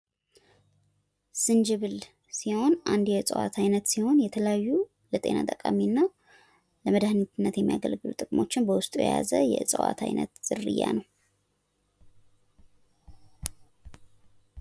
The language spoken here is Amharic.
ዝንጅብል ሲሆን አንድ የእጽዋት አይነት ሲሆን የተለያዩ የጤና ጠቃሚና ለመዳህኒትነት የሚገለግሉ ጥቅሞችን በውስጡ የያዘ የእጽዋት አይነት ዝርያ ነው።